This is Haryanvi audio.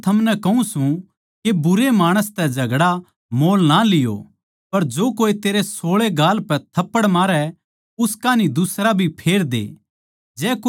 पर मै थमनै कहूँ सूं के बुरे माणस तै झगड़ा मोल ना लियो पर जो कोए तेरै सोळै गाल पै थप्पड़ मारै उस कान्ही दुसरा भी फेर दे